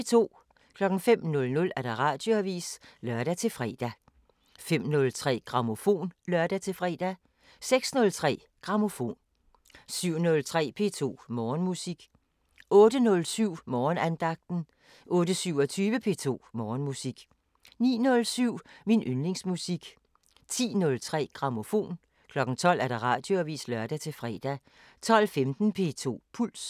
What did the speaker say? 05:00: Radioavisen (lør-fre) 05:03: Grammofon (lør-fre) 06:03: Grammofon 07:03: P2 Morgenmusik 08:07: Morgenandagten 08:27: P2 Morgenmusik 09:07: Min yndlingsmusik 10:03: Grammofon 12:00: Radioavisen (lør-fre) 12:15: P2 Puls